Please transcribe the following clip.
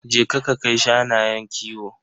Je ka ka kai shanayen kiwo.